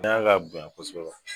N'a ka bonya ko sɔrɔ